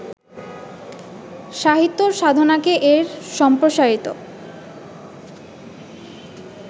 সাহিত্যসাধনাকে এর সম্প্রসারিত